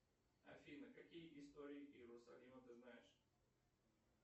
афина какие истории иерусалима ты знаешь